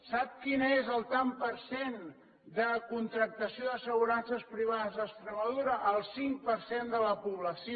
sap quin és el tant per cent de contractacions d’assegurances privades a extremadura el cinc per cent de la població